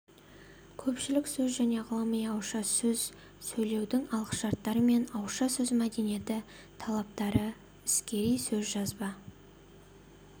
көпшілік сөз және ғылыми ауызша сөз сөйлеудің алғышарттары мен ауызша сөз мәдениеті талаптары іскери сөз жазба